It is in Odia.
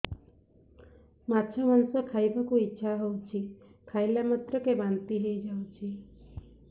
ମାଛ ମାଂସ ଖାଇ ବାକୁ ଇଚ୍ଛା ହଉଛି ଖାଇଲା ମାତ୍ରକେ ବାନ୍ତି ହେଇଯାଉଛି